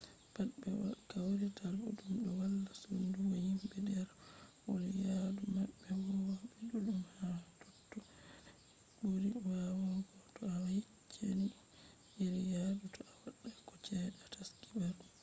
pat be kawrita ɗuɗɗum ɗo walla sodungo himɓe ɗerwol yaadu maɓɓe huwoɓe ɗuɗɗum ha totto n ɓuri waawugo to a yeccan iri yadu toi a waɗata ko cede a taski barugo